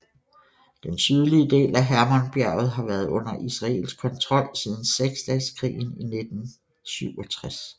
Den sydlige del af Hermonbjerget har været under israelsk kontrol siden Seksdageskrigen i 1967